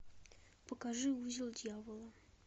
покажи узел дьявола